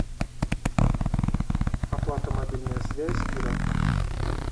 оплата мобильная связь ира